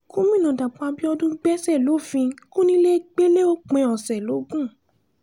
gomina dapò abiodun gbèsè lòfin kọnilẹgbẹlẹ òpin ọ̀sẹ̀ logun